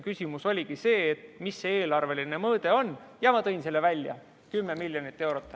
Küsimus oligi see, mis see eelarveline mõõde on, ja ma tõin selle välja: 10 miljonit eurot.